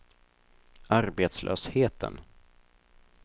arbetslösheten